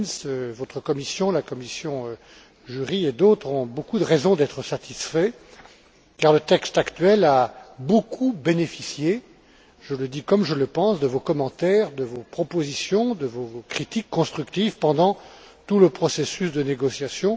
Klinz, votre commission, la commission JURI et d'autres ont nombre de raisons d'être satisfaits car le texte actuel a largement bénéficié je le dis comme je le pense de vos commentaires, de vos propositions, de vos critiques constructives pendant tout le processus de négociation.